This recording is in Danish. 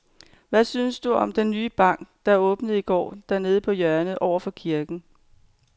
Hvad synes du om den nye bank, der åbnede i går dernede på hjørnet over for kirken?